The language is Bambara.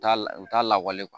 Taa u t'a lawale